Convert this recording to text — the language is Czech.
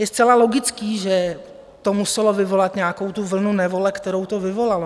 Je zcela logické, že to muselo vyvolat nějakou tu vlnu nevole, kterou to vyvolalo.